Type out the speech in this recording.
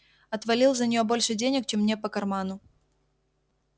отвалил за нее больше денег чем мне по карману